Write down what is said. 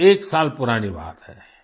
एकसौएक साल पुरानी बात है